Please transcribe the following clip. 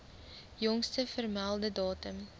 jongste vermelde datum